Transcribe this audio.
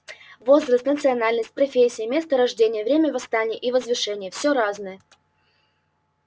возраст национальность профессия место рождения время восстания и возвышения все разное